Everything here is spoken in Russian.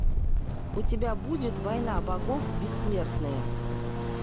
у тебя будет война богов бессмертные